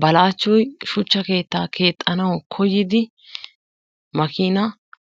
Balaachchoy shuuchcha keettaa keexxanawu kooyidi makina